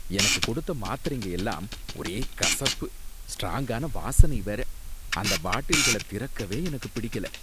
எனக்கு கொடுத்த மாத்திரைங்க எல்லாம் ஒரே கசப்பு, ஸ்ட்ராங்கான வாசனை வேற, அந்த பாட்டில்கள திறக்கவே எனக்குப் பிடிக்கல.